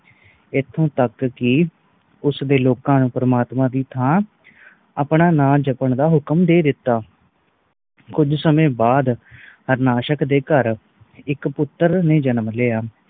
ਇਥੋਂ ਤਕ ਕਿ ਉਸਨੇ ਲੋਕ ਨੂੰ ਪ੍ਰਮਾਤਮਾ ਦੇ ਥਾਂ ਆਪਣਾ ਨਾਂ ਜਪਣ ਦਾ ਹੁਕਮ ਦੇ ਦਿਤਾ ਕੁਛ ਸਮੇ ਬਾਦ ਹਾਰਨਾਸ਼ਕ ਦੇ ਘਰ ਇਕ ਪੁੱਤਰ ਨੇ ਜਨਮ ਲਿਆ